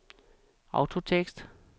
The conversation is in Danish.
autotekst